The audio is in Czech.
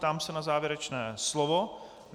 Ptám se na závěrečné slovo.